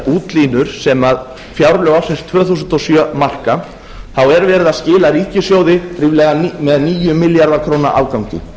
útlínur sem fjárlög ársins tvö þúsund og sjö marka þá er verið að skila ríkissjóði með níu milljarða króna afgangi